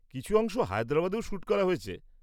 কিছু অংশ হায়দ্রাবাদেও শ্যুট করা হয়েছে।